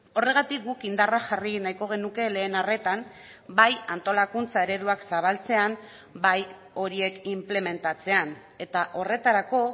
horregatik guk indarra jarri nahiko genuke lehen arretan bai antolakuntza ereduak zabaltzean bai horiek inplementatzean eta horretarako